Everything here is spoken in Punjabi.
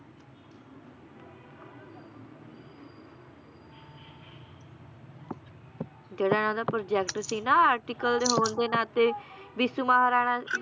ਜਿਹੜਾ ਇਹਨਾਂ ਦਾ project ਸੀ ਨਾ article ਦੇ ਹੋਣ ਦੇ ਨਾਤੇ ਵਿਸਨੂੰ ਮਹਾਰਾਣਾ